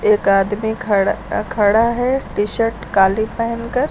एक आदमी खड़ खड़ा है टी शर्ट काली पहनकर।